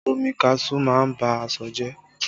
Omi kaṣuú má ń ba aṣọ jẹ